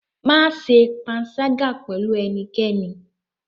Má ṣe panṣágà pẹ̀lú ẹnikẹ́ni?